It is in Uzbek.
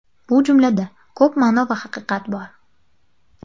Bu jumlada ko‘p ma’no va haqiqat bor.